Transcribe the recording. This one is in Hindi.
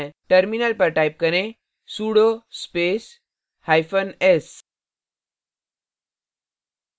terminal पर type करें sudo space hyphen s